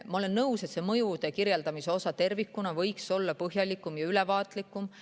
Ma olen nõus, et mõjude kirjeldamise osa tervikuna võiks olla põhjalikum ja ülevaatlikum.